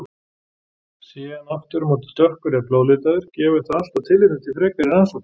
Sé hann aftur á móti dökkur eða blóðlitaður gefur það alltaf tilefni til frekari rannsóknar.